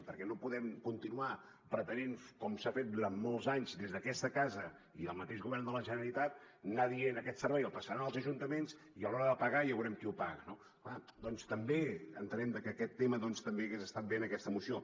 perquè no podem continuar pretenent com s’ha fet durant molts anys des d’aquesta casa i des del mateix govern de la generalitat anar dient aquest servei el passaran als ajuntaments i a l’hora de pagar ja veurem qui el paga no bé doncs entenem que aquest tema també hagués estat bé en aquesta moció